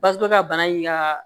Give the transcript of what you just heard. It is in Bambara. Basɔrɔ ka bana in ka